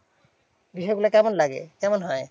বিষয়গুলো কেমন লাগে? কেমন হয়?